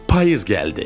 Payız gəldi.